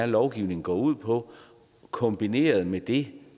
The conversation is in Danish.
lovgivningen går ud på kombineret med det